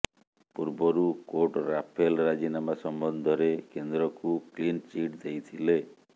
ପୂର୍ବରୁ court Rafale ରାଜିନାମା ସମ୍ବନ୍ଧରେ କେନ୍ଦ୍ରକୁ କ୍ଲିନ ଚିଟ ଦେଇଥିଲେ